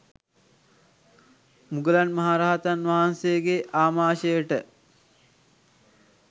මුගලන් මහ රහතන් වහන්සේගේ ආමාශයට